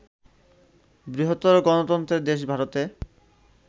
বৃহত্তর গণতন্ত্রের দেশ ভারতে